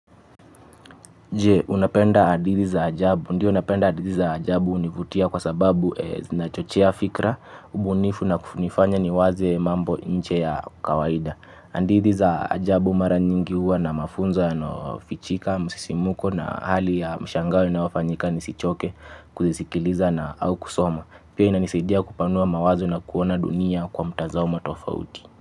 Je, unapenda hadithi za ajabu? Ndiyo napenda hadithi za ajabu hunivutia kwa sababu zinachochea fikra, ubunifu na kunifanya niwaze mambo nje ya kawaida. Hadithi za ajabu mara nyingi huwa na mafunzo yanayofichika, msisimko na hali ya mshangao inayofanyika nisichoke kuzisikiliza au kusoma. Pia inanisidia kupanua mawazo na kuona dunia kwa mtazamo tofauti.